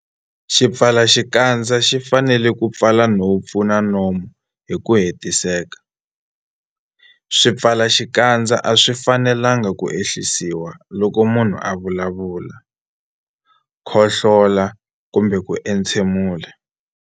Xipfalaxikandza xi fanele ku pfala nhompfu na nomo hi ku hetiseka. Swipfalaxikandza a swi fanelanga ku ehlisiwa loko munhu a vulavula, khohlola kumbe ku entshemula.